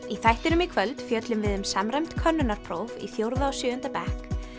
í þættinum í kvöld fjöllum við um samræmd könnunarpróf í fjórða og sjöunda bekk